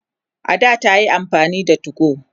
a da tayi amfani da 2go